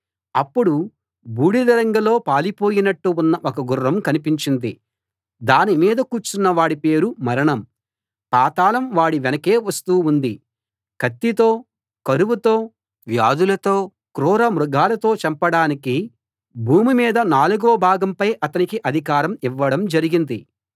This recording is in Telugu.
అప్పుడు బూడిద రంగులో పాలిపోయినట్టు ఉన్న ఒక గుర్రం కనిపించింది దాని మీద కూర్చున్న వాడి పేరు మరణం పాతాళం వాడి వెనకే వస్తూ ఉంది కత్తితో కరువుతో వ్యాధులతో క్రూరమృగాలతో చంపడానికి భూమి మీద నాలుగవ భాగంపై అతనికి అధికారం ఇవ్వడం జరిగింది